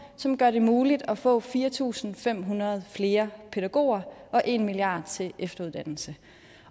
som gør det muligt at få fire tusind fem hundrede flere pædagoger og en milliard kroner til efteruddannelse